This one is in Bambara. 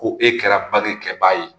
Ko e kɛra bange kɛbaa ye